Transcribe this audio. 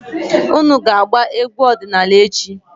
Unu ga-agba egwu ọdịnaala echi!